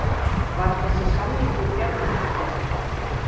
Var þessi samningur gerður eftir á?